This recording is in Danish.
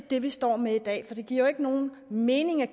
det vi står med i dag for det giver jo ikke nogen mening at